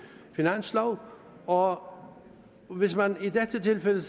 finanslov og hvis man i tilfældet